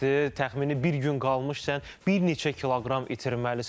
Təxmini bir gün qalmış sən bir neçə kiloqram itirməlisən.